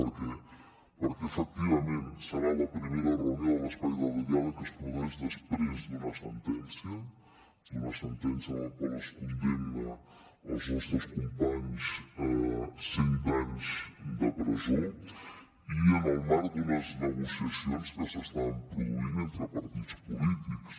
perquè efectivament serà la primera reunió de l’espai de diàleg que es produeix després d’una sentència d’una sentència en la qual es condemna els nostres companys a cent anys de presó i en el marc d’unes negociacions que s’estan produint entre partits polítics